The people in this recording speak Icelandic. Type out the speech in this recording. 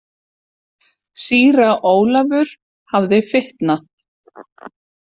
Síra Ólafur hafði fitnað.